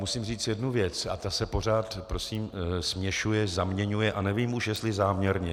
Musím říct jednu věc a ta se pořád prosím směšuje, zaměňuje a nevím už, jestli záměrně.